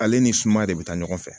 Ale ni sumaya de bɛ taa ɲɔgɔn fɛ